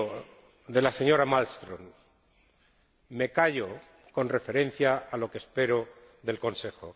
Me fío de la señora Malmström, me callo con referencia a lo que espero del Consejo